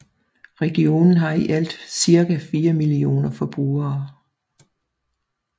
Regionen har i alt cirka fire millioner forbrugere